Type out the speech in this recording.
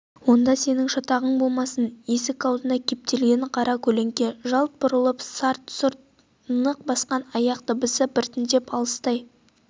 онда сенің шатағың болмасын есік аузына кептелген қара көлеңке жалт бұрылып сарт-сұрт нық басқан аяқ дыбысы біртіндеп алыстай